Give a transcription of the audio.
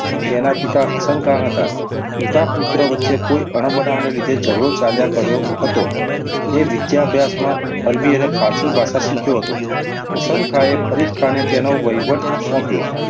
તેના પિતા હસનખાઁ હતા. પિતા-પુત્ર વચ્ચે કોઈ અણબનાવને લીધે ઝગડો ચાલ્યા કરતો હતો. તે વિદ્યાભ્યાસમાં અરબી અને ફારસી ભાષા શીખ્યો હતો. હસનખાઁએ ફરીદાઁને તેનો વહીવટ સોંપ્યો.